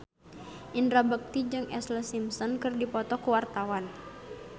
Indra Bekti jeung Ashlee Simpson keur dipoto ku wartawan